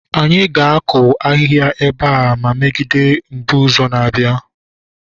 anyị ga-akụ ahịhịa ebe a megide mbuze na-abịa